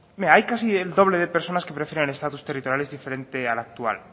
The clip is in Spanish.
mira hay casi el doble de personas que prefieren el estatus territorial diferente al actual